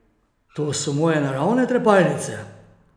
To so moje naravne trepalnice!